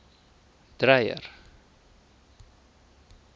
dreyer